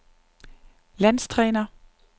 landstræner